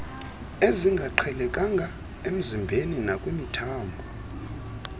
ezingaqhelekanga emzimbeni nakwimithambo